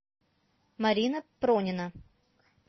марина пронина